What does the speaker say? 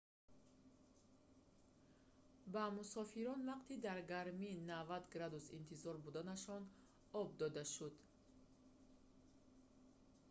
ба мусофирон вақти дар гармии 90°f интизор буданашон об дода шуд